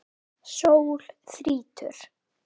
Sól þrýtur.